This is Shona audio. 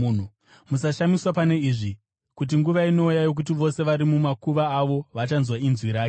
“Musashamiswa pane izvi, kuti nguva inouya yokuti vose vari mumakuva avo vachanzwa inzwi rake